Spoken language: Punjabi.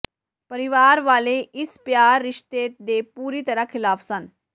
ਪਰਿਵਾਰ ਵਾਲੇ ਇਸ ਪਿਆਰ ਰਿਸ਼ਤੇ ਦੇ ਪੂਰੀ ਤਰ੍ਹਾਂ ਖਿਲਾਫ ਸਨ